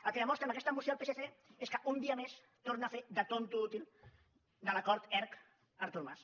el que demostra amb aquesta moció el psc és que un dia més torna a fer de tonto útil de l’acord erc artur mas